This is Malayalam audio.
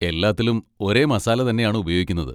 എല്ലാത്തിലും ഒരേ മസാല തന്നെയാണ് ഉപയോഗിക്കുന്നത്.